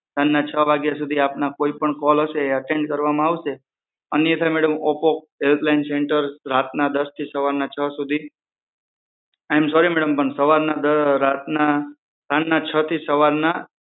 સાંજના છ વાગ્યા સુધી આપના કોઇપણ કોલ હશે એ અટેન્ડ કરવામાં આવશે અન્યથા madam Oppo help line centre રાતના દશથી સવારના છ સુધી આઈ મ સોરી મેડમ પણ સાંજના છથી સવારના